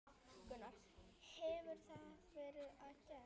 Gunnar: Hefur það verið gert?